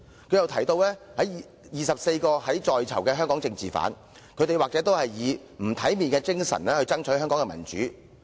她又提到24個在囚的香港政治犯，他們都是以不體面的精神為香港爭取民主。